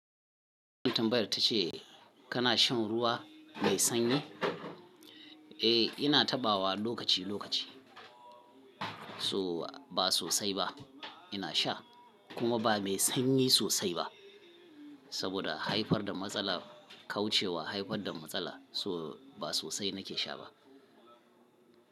Katin tambayar ta ce kana shan ruwa mai sanyi? Eh, ina taɓawa lokaci-lokaci. So ba sosai ba ina sha kuma ba mai sanyi sosai ba. Saboda haifar da matsala kauce wa haifar da matsala, so ba sosai na ke sha ba.